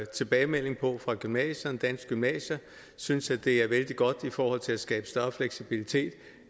tilbagemelding på det fra gymnasierne danske gymnasier synes at det er vældig godt i forhold til at skabe større fleksibilitet